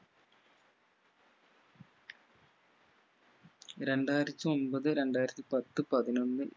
രണ്ടായിരത്തി ഒമ്പത് രണ്ടായിരത്തി പത്ത് പതിനൊന്ന്